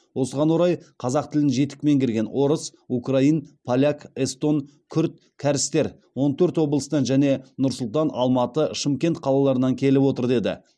осыған орай қазақ тілін жетік меңгерген орыс украин поляк эстон күрд кәрістер он төрт облыстан және нұр сұлтан алматы шымкент қалаларынан келіп отыр деді